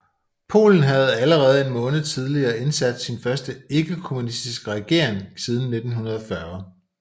Polen havde allerede en måned tidligere indsat sin første ikkekommunistiske regering siden 1940